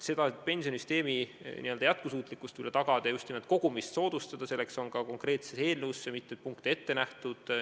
Selleks, et pensionisüsteemi jätkusuutlikkus tagada ja just nimelt kogumist soodustada, on eelnõusse ette nähtud mitu konkreetset punkti.